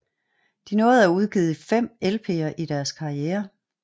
De nåede at udgive fem LPer i deres karriere